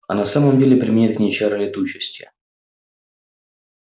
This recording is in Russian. а на самом деле применяет к ней чары летучести